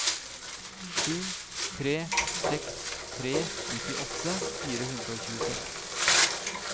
sju tre seks tre nittiåtte fire hundre og tjueseks